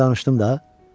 Dünən danışdım da.